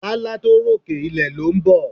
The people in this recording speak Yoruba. Lálá tó rókè, ilẹ̀ ló ń bọ̀.